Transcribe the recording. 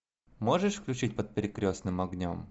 можешь включить под перекрестным огнем